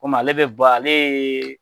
Kɔmi ale be bɔ ale yee